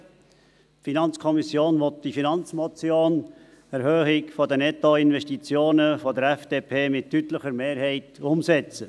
Die FiKo will die Finanzmotion «Erhöhung der Nettoinvestitionen» der FDP mit deutlicher Mehrheit umsetzen.